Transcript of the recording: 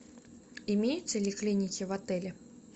имеются ли клиники в отеле